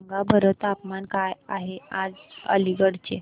सांगा बरं तापमान काय आहे आज अलिगढ चे